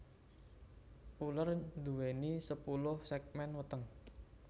Uler nduwèni sepuluh ségmén weteng